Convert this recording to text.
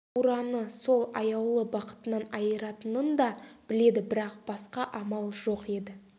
бураны сол аяулы бақытынан айыратынын да біледі бірақ басқа амал жоқ еді